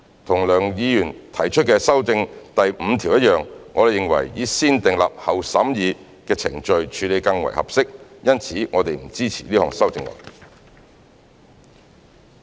跟梁議員提出修訂第5條一樣，我們認為以"先訂立後審議"的程序處理更為合適，因此我們不支持這項修正案。